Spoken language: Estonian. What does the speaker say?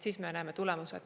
Siis me näeme tulemusi.